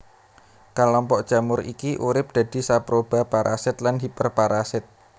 Kelompok jamur iki urip dadi saproba parasit lan hiperparasit